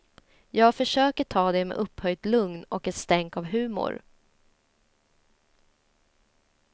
Jag försöker ta det med upphöjt lugn och ett stänk av humor.